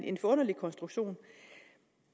en forunderlig konstruktion